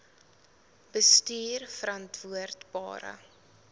bestuurverantwoordbare